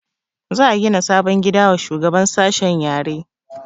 Za a gina sabon gida wa shugaban sashen yare